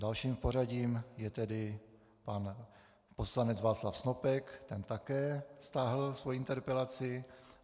Dalším v pořadí je tedy pan poslanec Václav Snopek - ten také stáhl svoji interpelaci.